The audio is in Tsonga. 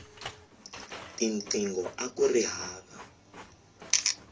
tinqingho akuri hava